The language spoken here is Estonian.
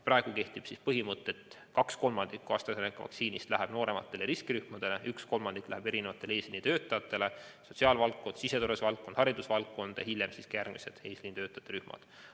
Praegu kehtib põhimõte, et kaks kolmandikku AstraZeneca vaktsiinist läheb noorematele riskirühmadele ning üks kolmandik läheb eesliinitöötajatele, näiteks sotsiaalvaldkonda, siseturvalisuse valdkonda ja haridusvaldkonda, hiljem ka järgmistele eesliinitöötajate rühmadele.